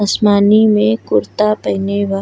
असमानी में कुर्ता पहिने बा --